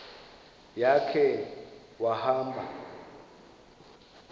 ya khe wahamba